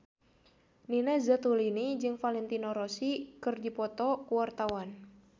Nina Zatulini jeung Valentino Rossi keur dipoto ku wartawan